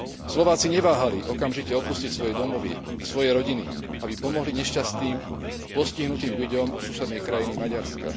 Slováci neváhali okamžite opustiť svoje domovy, svoje rodiny, aby pomohli nešťastným, postihnutým ľuďom susednej krajiny Maďarska.